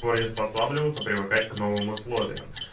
приспосабливаться привыкать к новым условиям